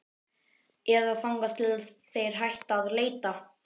Eða þangað til þeir hætta að leita.